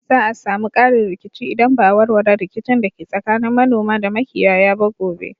Za a sami ƙarin rikici idan ba a warware rikicin da ke tsakanin manoma da makiyaya ba gobe